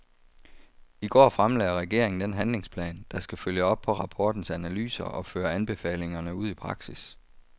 I går fremlagde regeringen den handlingsplan, der skal følge op på rapportens analyser og føre anbefalingerne ud i praksis.